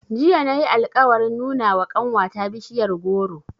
Jiya na yi alƙawarin nuna wa ƙanwata bishiyar goro.